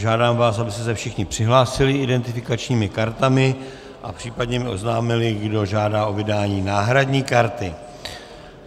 Žádám vás, abyste se všichni přihlásili identifikačními kartami a případně mi oznámili, kdo žádá o vydání náhradní karty.